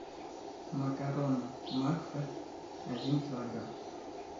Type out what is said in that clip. макароны макфа один килограмм